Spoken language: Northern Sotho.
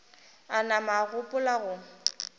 a nama a gopola go